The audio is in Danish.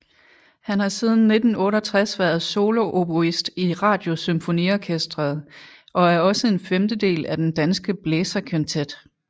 Han har siden 1968 været solooboist i Radiosymfoniorkestret og er også en femtedel af den Danske Blæserkvintet